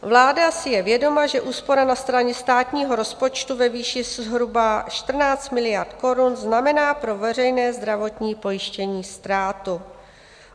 Vláda si je vědoma, že úspora na straně státního rozpočtu ve výši zhruba 14 miliard korun znamená pro veřejné zdravotní pojištění ztrátu.